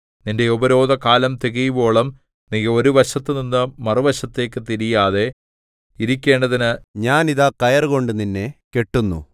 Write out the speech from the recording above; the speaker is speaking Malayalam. നിന്റെ ഉപരോധകാലം തികയുവോളം നീ ഒരു വശത്തുനിന്ന് മറുവശത്തേക്കു തിരിയാതെ ഇരിക്കേണ്ടതിന് ഞാൻ ഇതാ കയറുകൊണ്ട് നിന്നെ കെട്ടുന്നു